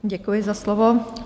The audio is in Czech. Děkuji za slovo.